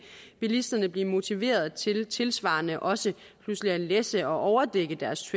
bilisterne blive motiverede til tilsvarende også pludselig at læsse og overdække deres